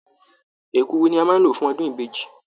Èkuru ni a máa lò fún ọdún ìbejì